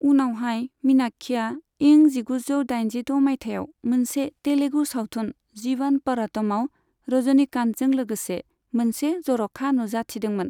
उनावहाय, मीनाक्षीआ इं जिगुजौ दाइजिद' माइथायाव मोनसे तेलुगु सावथुन, जीवन प'रटमआव रजनीकान्तजों लोगोसे मोनसे जर'खा नुजाथिदोंमोन।